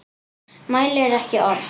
Mælir ekki orð.